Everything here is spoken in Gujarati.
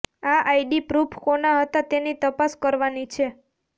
આ આઈડી પ્રૂફ કોના હતા તેની તપાસ કરવાની છે